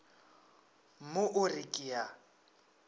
mo o re ke a